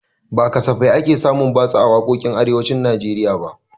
Ba safe ake samun batsa a waƙoƙin arewacin najeriya ba